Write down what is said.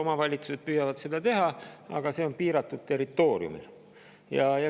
Omavalitsused on püüdnud seda teha, aga nad on seda teinud piiratud territooriumil.